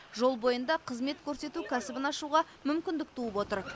жол бойында қызмет көрсету кәсібін ашуға мүмкіндік туып отыр